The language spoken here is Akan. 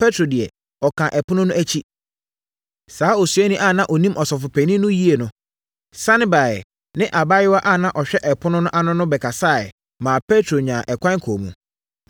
Petro deɛ ɔkaa ɛpono no akyi. Saa osuani a na ɔnim ɔsɔfopanin no yie no, sane baeɛ ne abaayewa a na ɔhwɛ ɛpono no ano no bɛkasaeɛ maa Petro nyaa ɛkwan kɔɔ mu.